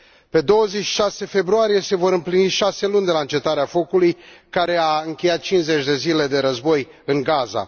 Pe 26 februarie se vor împlini șase luni de la încetarea focului, care a încheiat cincizeci de zile de război în Gaza.